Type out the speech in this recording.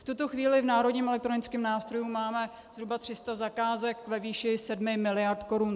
V tuto chvíli v národním elektronickém nástroji máme zhruba 300 zakázek ve výši 7 mld. korun.